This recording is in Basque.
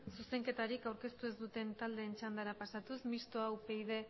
zuzenketarik aurkeztu ez duten taldeen txandara pasatuz mistoa